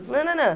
Não, não, não.